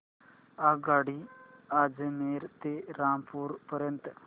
आगगाडी अजमेर ते रामपूर पर्यंत